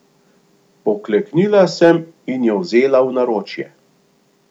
Pokleknila sem in jo vzela v naročje.